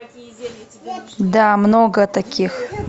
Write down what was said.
да много таких